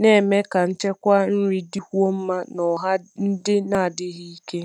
na-eme ka nchekwa nri dịkwuo mma n’ọha ndị na-adịghị ike.